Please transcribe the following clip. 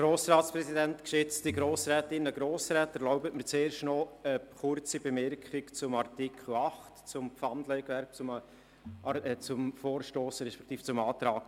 Erlauben Sie mir zuerst noch eine kurze Bemerkung zu Artikel 8 betreffend das Pfandleihgewerbe und den Antrag Saxer.